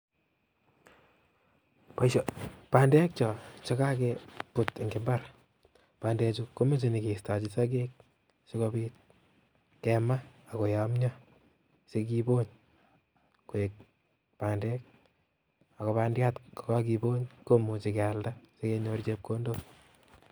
Bandek choo chekakebut en imbar, bandechu komoche nyokistochi sokek sikobit kemaa ak koyomnyo sikibony koik bandek akobandiat ko kakibony komuche kealda sikenyor chepkondok.